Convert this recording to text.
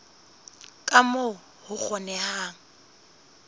ka moo ho ka kgonehang